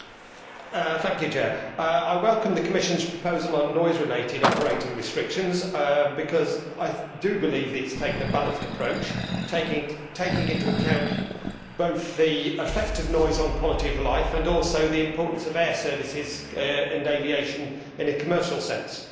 Mr President, I welcome the Commission's proposal on noise related operating restrictions because I believe it has taken a balanced approach, taking into account both the effect of noise on quality of life and also the importance of air services and aviation in a commercial sense.